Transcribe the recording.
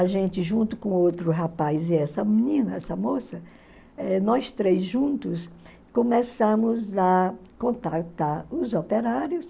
A gente, junto com outro rapaz e essa menina, essa moça, eh nós três juntos, começamos a contactar os operários,